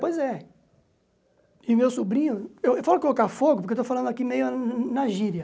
Pois é. E meu sobrinho, eu eu falo colocar fogo, porque estou falando aqui meio na gíria.